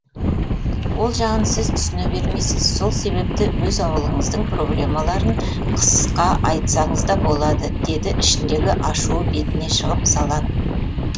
ол жағын сіз түсіне бермейсіз сол себепті өз аулыңыздың проблемаларын қысқа айтсаңыз да болады деді ішіндегі ашуы бетіне шығып ызаланып